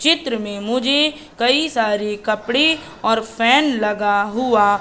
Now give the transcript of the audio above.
चित्र में मुझे कई सारे कपड़े और फैन लगा हुआ--